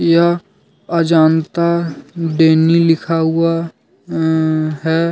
यह अजंता डेनी लिखा हुआ अ है।